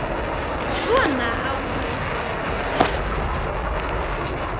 Svona á þá að yrkja, hugsaði ég.